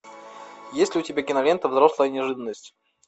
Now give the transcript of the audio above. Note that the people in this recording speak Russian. есть ли у тебя кинолента взрослая неожиданность